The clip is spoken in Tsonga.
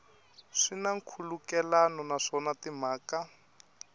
swi na nkhulukelano naswona timhaka